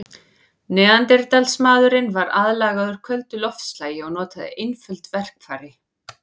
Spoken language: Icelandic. Neanderdalsmaðurinn var aðlagaður köldu loftslagi og notaði einföld verkfæri.